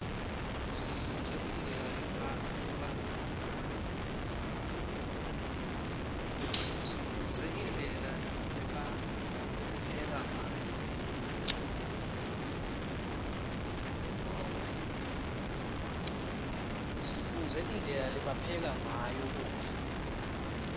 sifundze indlela lebapheka ngayo kudla